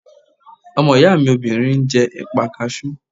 Ọmọ ìyá mi obìnrin ń jẹ́ ẹ̀pà kasú